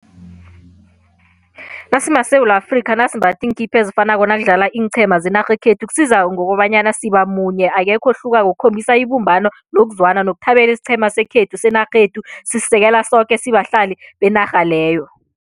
NasimaSewula Afrikha nasimbatha iinkipa ezifanako nakudlala iinqhema zenarha yekhethu kusiza ngokobanyana siba munye akekho ohlukako kukhombisa ibumbano nokuzwana nokuthabela isiqhema sekhethu senarhethu sisisekela soke sibahlali benarha leyo.